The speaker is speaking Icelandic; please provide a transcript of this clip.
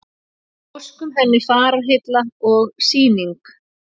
Óskum henni fararheilla og Sýning